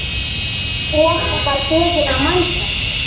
Og var beðinn að mæta.